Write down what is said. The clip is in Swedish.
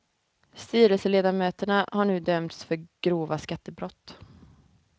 Styrelseledamöterna har nu dömts för grova skattebrott.